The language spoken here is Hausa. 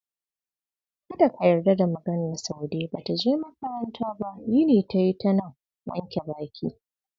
Kada ka yarda da maganar Saude, ba ta je makaranta ba, yini ta yi tanan wanke baki.